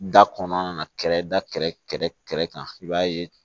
Da kɔnɔna na kɛrɛda kan i b'a ye